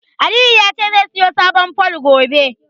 Aliyu ya ce zai siyo sabon fol, gobe.